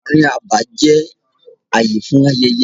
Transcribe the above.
Ààrin abà jẹ́ ààyè fún ayẹyẹ.